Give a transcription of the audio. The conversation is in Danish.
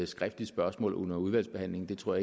skriftligt spørgsmål under udvalgsbehandlingen det tror